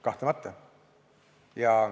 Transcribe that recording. Kahtlemata.